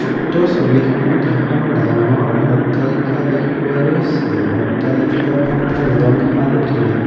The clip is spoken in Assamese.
উক্ত ছবিখনত এখন ডাঙৰ অট্টালিকা দেখুওৱা গৈছে অট্টালিকাখনৰ ৰং হালধীয়া।